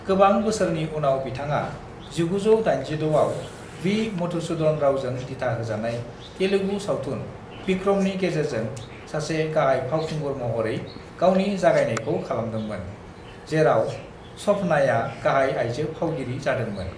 "गोबां बोसोरनि उनाव बिथाङा 1986आव वी. मधुसूदन रावजों दिथा होजानाय तेलुगु सावथुन विक्रमनि गेजेरजों सासे गाहाय फावखुंगुर महरै गावनि जागायनायखौ खालामदोंमोन, जेराव श'भनाया गाहाय आयजों फावगिरि जादोंमोन।"